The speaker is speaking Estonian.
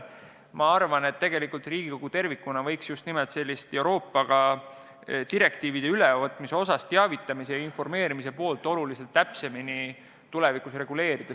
Ma arvan, et Riigikogu tervikuna võiks Euroopaga direktiivide ülevõtmisel teavitamise ja informeerimise poolt oluliselt täpsemini reguleerida.